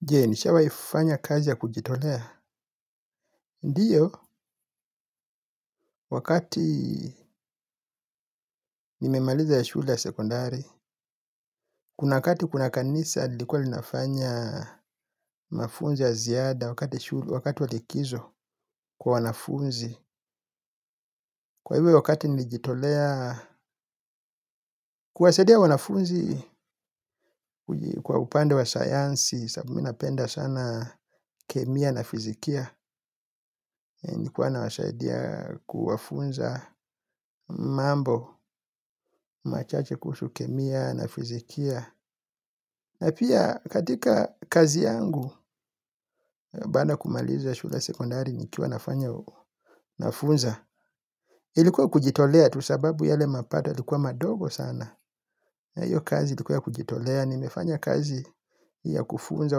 Je, nishawai ifanya kazi ya kujitolea. Ndiyo, wakati nimemaliza ya shule ya sekondari. Kuna kati kuna kanisa lilikuwa linafanya mafunzo ya ziada wakati wa likizo kwa wanafunzi. Kwa ivi hiyo wakati nilijitolea kuwasaidia wanafunzi kwa upande wa sayansi, sababu mi napenda sana kemia na fizikia. Nikuwa na wasaidia kuwafunza mambo machache kuhusu kemia na fizikia na pia katika kazi yangu baada ya kumaliza shula sekondari nikiwa nafanya nafunza. Ilikuwa kujitolea tu sababu yale mapato yalikuwa madogo sana. Iyo kazi ilikuwa ya kujitolea nimefanya kazi ya kufunza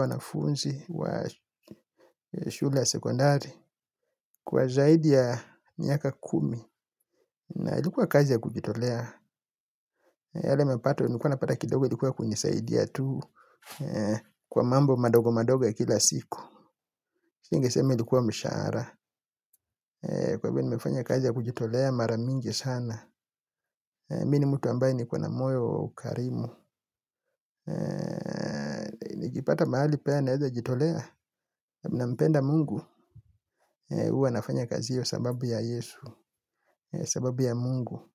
wanafunzi wa shule ya sekondari. Kwa zaidi ya miaka kumi na ilikuwa kazi ya kujitolea yale mepato, nilukuwa napata kidogo ilikuwa kunisaidia tu. Kwa mambo madogo madogo ya kila siku. Singesema ilikuwa mshahara. Kwa hivyo nimefanya kazi ya kujitolea maramingi sana Mi ni mtu ambaye niko wa na moyo ukarimu. Nikipata mahali pea naeza jitolea. Nampenda mungu. Uwa nafanya kazi hiyo sababu ya Yesu. Sababu ya mungu.